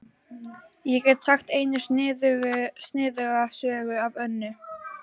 Ég get sagt eina sniðuga sögu af Önnu.